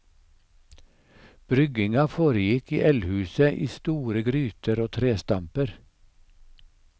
Brygginga foregikk i eldhuset i store gryter og trestamper.